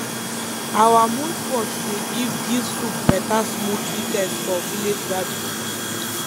our muud pot dey give give soup better smoky taste for village gathering